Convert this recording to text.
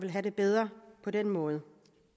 have det bedre på den måde